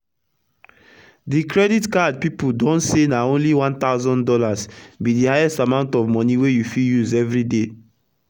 d credit card pipu don say na only one thousand dollars be d highest amount of moni wey u fit use everi day